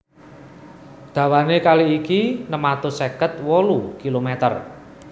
Dawané kali iki enem atus seket wolu kilomèter